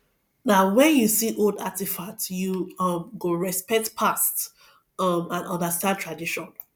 na wen you see old artifacts you um go respect past um and understand tradition